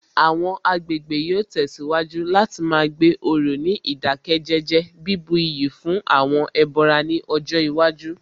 Àwọn agbègbè yóò tẹ̀síwájú láti má gbé òrò ní ìdákẹ́jẹ́jẹ́, bíbu iyì fún àwọn ẹbọra ní ọjọ́ iwájú